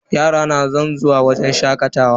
Yara na san zuwa wajen shakatawa.